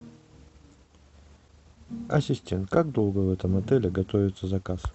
ассистент как долго в этом отеле готовится заказ